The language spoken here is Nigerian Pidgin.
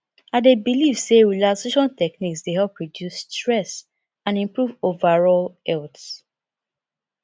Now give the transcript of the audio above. i dey believe say relaxation techniques dey help reduce stress and improve overall health